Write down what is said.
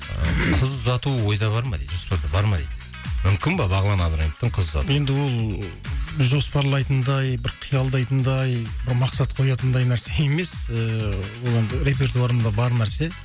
ыыы қыз ұзату ойда бар ма дейді бар ма дейді мүмкін ба бағлан абдраимовтың қыз ұзатуы енді ол жоспарлайтындай бір қиялдайтындай бір мақсат қоятындай нәрсе емес ыыы ол енді репертуарымда бар нәрсе